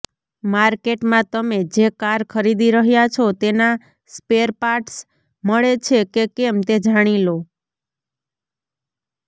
માર્કેટમાં તમે જે કાર ખરીદી રહ્યા છો તેના સ્પેરપાર્ટસ મળે છે કે કેમ તે જાણીલો